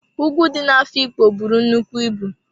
Ùgwù dị na-Afikpo buru nnukwu ịbụ.